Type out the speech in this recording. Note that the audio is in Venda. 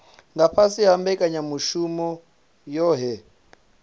nga fhasi ha mbekanyamushumo yohe